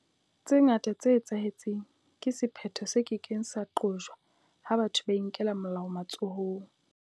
Tse ngata tse etsahetseng ke sephetho se ke keng sa qojwa ha batho ba inkela molao matsohong.